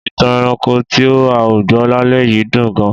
Ìtàn ẹranko tí a gbọ́ lálẹ́ yìí dùn gan-an.